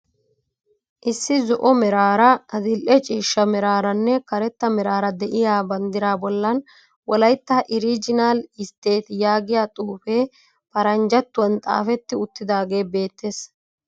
Issi zo'o meraara adil"e ciishsha meraaranne karetta meraara de'iya banddiraa bollan wolaytta iriijinaal istteeti yaagiya xuufee paranjjattuwan xaafetti uttidaagee beettees.